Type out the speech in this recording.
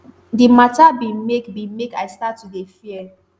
"di mata bin make bin make i start to dey fear